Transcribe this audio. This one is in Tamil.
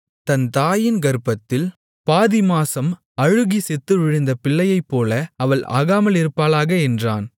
தன் தாயின் கர்ப்பத்தில் பாதி மாம்சம் அழுகிச் செத்துவிழுந்த பிள்ளையைப்போல அவள் ஆகாமலிருப்பாளாக என்றான்